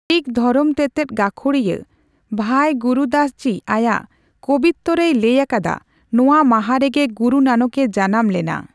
ᱥᱤᱠᱷ ᱫᱷᱚᱨᱚᱢ ᱛᱮᱛᱮᱫ ᱜᱟᱹᱠᱷᱩᱲᱤᱭᱟᱹ ᱵᱷᱟᱭ ᱜᱩᱨᱩᱫᱟᱥᱡᱤ ᱟᱭᱟᱜ 'ᱠᱚᱵᱤᱛᱛᱚᱹ' ᱨᱮᱭ ᱞᱟᱹᱭ ᱟᱠᱟᱫᱟ, ᱱᱚᱣᱟ ᱢᱟᱦᱟ ᱨᱮᱜᱮ ᱜᱩᱨᱩ ᱱᱟᱱᱚᱠ ᱮ ᱡᱟᱱᱟᱢ ᱞᱮᱱᱟ ᱾